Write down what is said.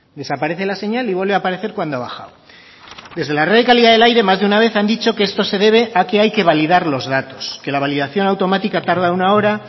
desaparece la señal y vuelve a aparecer cuando ha bajado desde la red de calidad del aire más de una vez han dicho que esto se debe a que hay que validar los datos que la validación automática tarda una hora